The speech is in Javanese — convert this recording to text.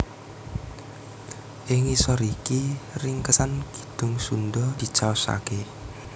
Ing ngisor iki ringkesan Kidung Sundha dicaosaké